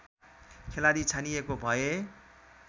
खेलाडी छानिएको भए